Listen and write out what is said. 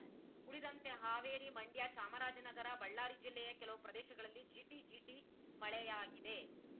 ಉಳಿದಂತೆ ಹಾವೇರಿ ಮಂಡ್ಯ ಚಾಮರಾಜನಗರ ಬಳ್ಳಾರಿ ಜಿಲ್ಲೆಯ ಕೆಲವು ಪ್ರದೇಶಗಳಲ್ಲಿ ಜಿಟಿಜಿಟಿ ಮಳೆಯಾಗಿದೆ